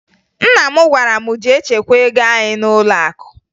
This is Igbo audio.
Nna m gwara m jee chekwaa ego anyị n'ụlọakụ